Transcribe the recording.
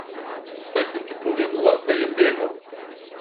Saj sem ti povedala, da je begav.